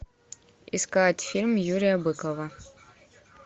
искать фильм юрия быкова